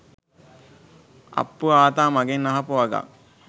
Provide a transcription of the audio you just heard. අප්පු ආතා මගෙන් අහපු වගක්